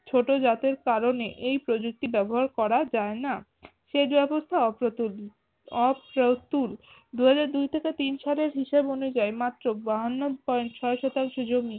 ছোটো জাতের কারনে এই প্রযুক্তি ব্যবহার করা যায় না। সেচ ব্যবস্থা অপ্রতুল অপ্রতুল দুই হাজার দুই থেকে তিন সালের হিসাব অনুযায়ী মাএ বাহান্ন পয়েন্ট ছয় শতাংশ জমি